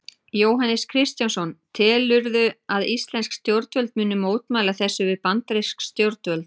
Jóhannes Kristjánsson: Telurðu að íslensk stjórnvöld muni mótmæla þessu við bandarísk stjórnvöld?